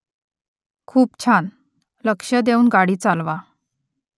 खूप छान . लक्ष देऊन गाडी चालवा